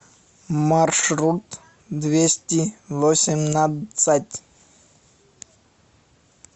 маршрут двести восемнадцать